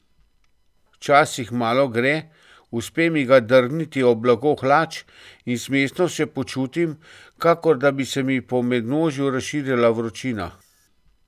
Včasih malo gre, uspe mi ga drgniti ob blago hlač in smešno se počutim, kakor da bi se mi po mednožju razširila vročina.